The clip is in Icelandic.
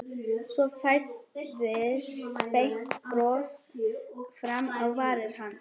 Svo færðist breitt bros fram á varir hans.